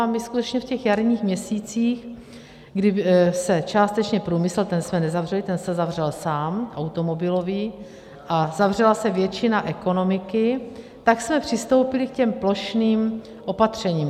A my skutečně v těch jarních měsících, kdy se částečně průmysl - ten jsme nezavřeli, ten se zavřel sám, automobilový, a zavřela se většina ekonomiky - tak jsme přistoupili k těm plošným opatřením.